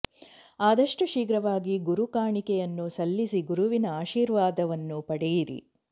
ಆದಷ್ಟು ಶೀಘ್ರವಾಗಿ ಗುರು ಕಾಣಿಕೆಯನ್ನು ಸಲ್ಲಿಸಿ ಗುರುವಿನ ಆಶೀರ್ವಾದವನ್ನು ಪಡೆಯಿರಿ